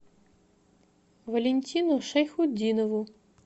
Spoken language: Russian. валентину шайхутдинову